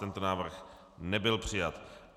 Tento návrh nebyl přijat.